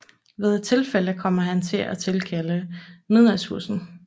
Ved et tilfælde kommer han til at tilkalde Midnatsbussen